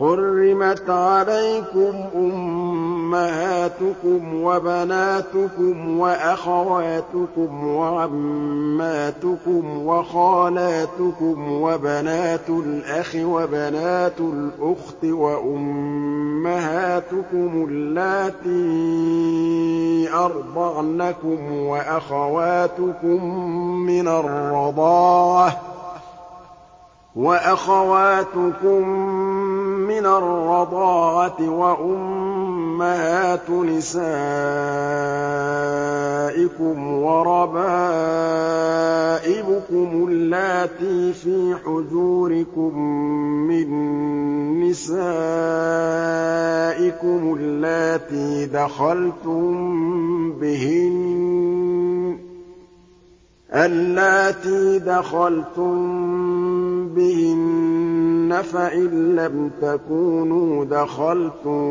حُرِّمَتْ عَلَيْكُمْ أُمَّهَاتُكُمْ وَبَنَاتُكُمْ وَأَخَوَاتُكُمْ وَعَمَّاتُكُمْ وَخَالَاتُكُمْ وَبَنَاتُ الْأَخِ وَبَنَاتُ الْأُخْتِ وَأُمَّهَاتُكُمُ اللَّاتِي أَرْضَعْنَكُمْ وَأَخَوَاتُكُم مِّنَ الرَّضَاعَةِ وَأُمَّهَاتُ نِسَائِكُمْ وَرَبَائِبُكُمُ اللَّاتِي فِي حُجُورِكُم مِّن نِّسَائِكُمُ اللَّاتِي دَخَلْتُم بِهِنَّ فَإِن لَّمْ تَكُونُوا دَخَلْتُم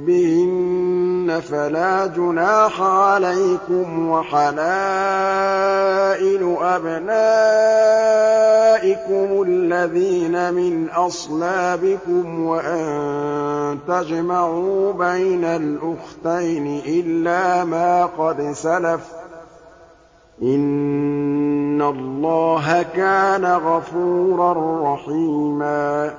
بِهِنَّ فَلَا جُنَاحَ عَلَيْكُمْ وَحَلَائِلُ أَبْنَائِكُمُ الَّذِينَ مِنْ أَصْلَابِكُمْ وَأَن تَجْمَعُوا بَيْنَ الْأُخْتَيْنِ إِلَّا مَا قَدْ سَلَفَ ۗ إِنَّ اللَّهَ كَانَ غَفُورًا رَّحِيمًا